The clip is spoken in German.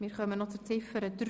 Wir kommen zu Ziffer 3.